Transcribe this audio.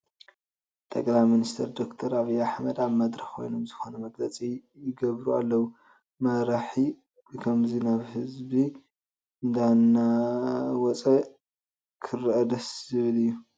ጠቅላይ ሚኒስትር ዶክተር ኣብዪ ኣሕመድ ኣብ መድረኽ ኮይኖም ዝኾነ መግለፂ ይገብሩ ኣለዉ፡፡ መራሒ ብኸምዚ ናብ ህዝቢ እንዳወፀ ክርአ ደስ ዝብል እዩ፡፡